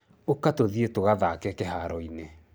Ũka tũthiĩ tũgathake kĩharo-inĩ.